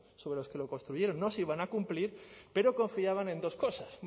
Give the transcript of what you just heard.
sobre los que lo construyeron no se iban a cumplir pero confiaban en dos cosas